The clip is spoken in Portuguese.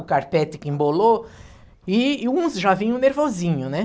O carpete que embolou e e uns já vinham nervosinho, né?